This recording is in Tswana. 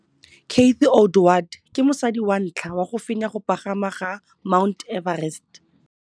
Cathy Odowd ke mosadi wa ntlha wa go fenya go pagama ga Mt Everest.